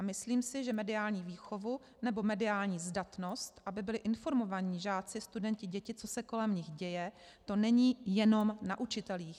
A myslím si, že mediální výchovu nebo mediální zdatnost, aby byli informovaní žáci, studenti, děti, co se kolem nich děje, to není jenom na učitelích.